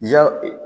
Ja